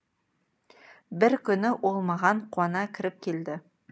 бір күні ол маған қуана кіріп келді